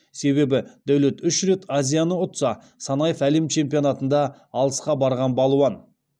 себебі дәулет үш рет азияны ұтса санаев әлем чемпионатында алысқа барған балуан